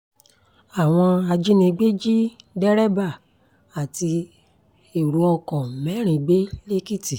àwọn ajínigbé jí dèrèbà àti ẹ̀rọ ọkọ̀ mẹ́rin gbé lẹ́kìtì